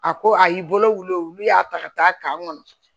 A ko a y'i bolo wulu olu y'a ta ka taa kan kɔnɔ